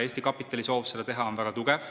Eesti kapitali soov seda teha on väga tugev.